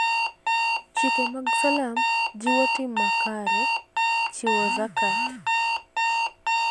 Chike mag Salam jiwo tim makare. chiwo (zakat).